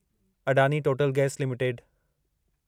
Adani Total gas limited